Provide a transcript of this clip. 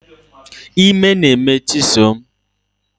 Ime na-eme chisom